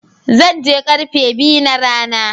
Zan je karfe biyu na rana.